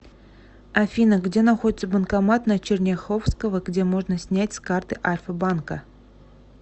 афина где находится банкомат на черняховского где можно снять с карты альфа банка